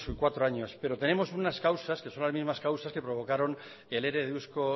años pero tenemos unas causas que son las mismas causas que provocaron el ere de eusko